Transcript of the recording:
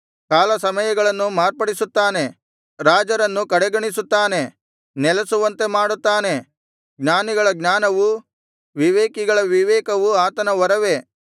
ಕಾಲ ಸಮಯಗಳನ್ನು ಮಾರ್ಪಡಿಸುತ್ತಾನೆ ರಾಜರನ್ನು ಕಡೆಗಣಿಸುತ್ತಾನೆ ನೆಲೆಸುವಂತೆ ಮಾಡುತ್ತಾನೆ ಜ್ಞಾನಿಗಳ ಜ್ಞಾನವು ವಿವೇಕಿಗಳ ವಿವೇಕವು ಆತನ ವರವೇ